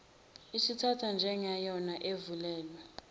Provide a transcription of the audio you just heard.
isathathwa njengeyona evunyelwe